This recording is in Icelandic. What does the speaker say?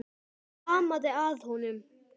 Hvað amaði að honum?